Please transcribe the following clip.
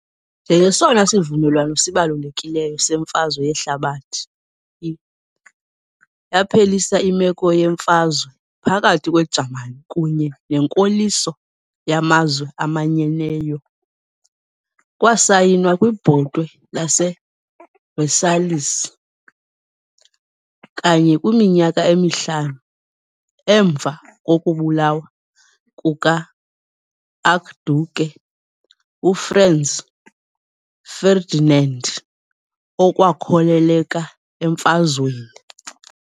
Njengesona sivumelwano sibalulekileyo seMfazwe Yehlabathi I, yaphelisa imeko yemfazwe phakathi kweJamani kunye nenkoliso yaMazwe Amanyeneyo . Kwasayinwa kwiBhotwe laseVersailles, kanye kwiminyaka emihlanu emva kokubulawa kukaArchduke uFranz Ferdinand, okwakhokelela emfazweni.